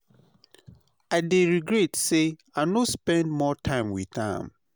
I dey regret say i no spend more time with am.